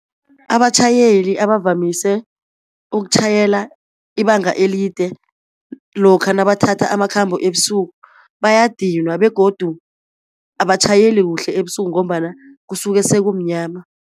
Abatjhayeli abavamise ukutjhayela ibanga elide lokha nabathatha amakhambo ebusuku bayadinwa, begodu abatjhayeli kuhle ebusuku ngombana kusuke sekumnyama.